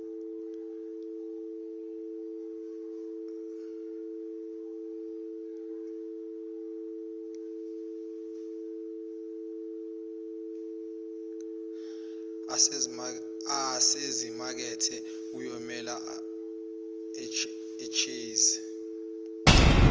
asezimakethe kuyomele achaze